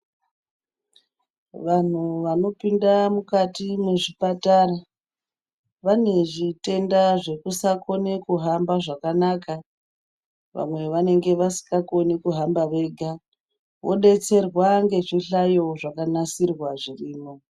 Vanhu vanopinda mukati mezvipatara, vanezvitenda zvekusakone kuhamba zvakanaka. Vamwe vanenge vasingakone kuhamba vega vodetserwa ngezvihlayo zvakanasirwa zvirimo.